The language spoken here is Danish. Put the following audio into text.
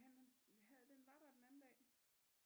Han havde den var der den anden dag